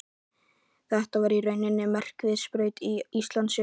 Þetta var í rauninni merkisviðburður í Íslandssögunni.